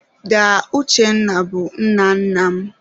Daa Uchenna bụ nne nna m.